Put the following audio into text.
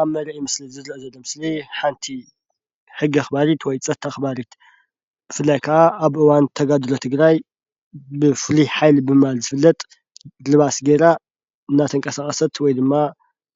ኣብ መርአዪ ምስሊ ዝርአ ዘሎ ምስሊ ሓንቲ ሕጊ ኣኽባሪት ወይ ፀጥታ ኣኽባሪት ብፍላይ ካዓ ኣብ እዋን ተጋድሎ ትግራይ ብፍሉይ ሓይሊ ብምባል ዝፍለጥ ልባስ ጌራ እናተንቀሳቐሰት ወይ ድማ